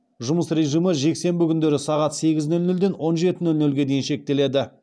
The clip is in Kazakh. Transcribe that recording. жұмыс режимі жексенбі күндері сағат сегіз нөл нөлден он жеті нөл нөлге дейін шектеледі